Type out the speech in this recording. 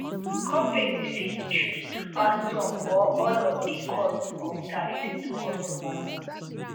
companies fit choose to pass some or all of di cost of tariffs to customers